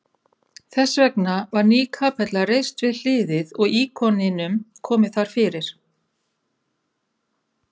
Þessvegna var ný kapella reist við hliðið og íkoninum komið þar fyrir.